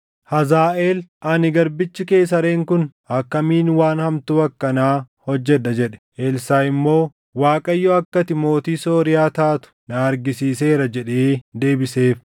Hazaaʼeel, “Ani garbichi kee sareen kun akkamiin waan hamtuu akkanaa hojjedha?” jedhe. Elsaaʼi immoo, “ Waaqayyo akka ati mootii Sooriyaa taatu na argisiiseera” jedhee deebiseef.